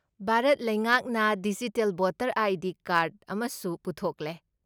ꯚꯥꯔꯠ ꯂꯩꯉꯥꯛꯅ digital voter I. D. Card ꯑꯃꯁꯨ ꯄꯨꯊꯣꯛꯂꯦ꯫